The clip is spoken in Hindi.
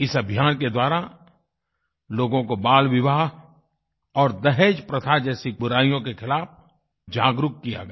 इस अभियान के द्वारा लोगों को बालविवाह और दहेज़प्रथा जैसी बुराइयों के खिलाफ़ जागरूक किया गया